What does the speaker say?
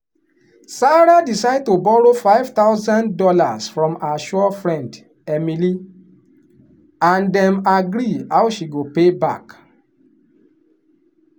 sarah decide to borrow five thousand dollars from her sure friend emily and dem agree how she go pay back.